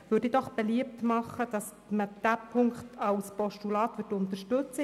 Ich würde beliebt machen, diesen Punkt als Postulat zu unterstützen.